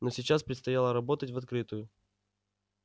но сейчас предстояло работать в открытую